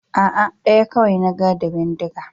A'a, ɗaya kawai na ga da bindiga.